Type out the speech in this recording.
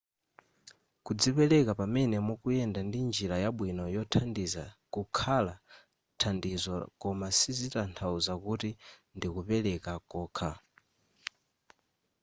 kudzipereka pamene mukuyenda ndi njira yabwino yothandiza kukhala thandizo koma sizitathauza kuti ndikupeleka kokha